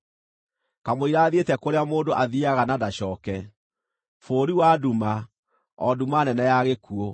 kamũira thiĩte kũrĩa mũndũ athiiaga na ndacooke, bũrũri wa nduma, o nduma nene ya gĩkuũ,